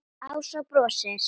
Ása brosir.